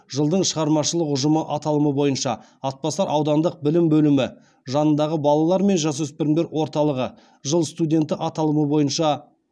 жылдың шығармашылық ұжымы аталымы бойынша атбасар аудандық білім бөлімі жанындағы балалар мен жасөспірімдер орталығы жыл студенті аталымы бойынша